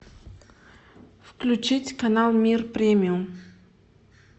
включить канал мир премиум